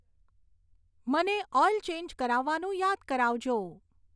મને oil change કરાવવાનું યાદ કરાવજો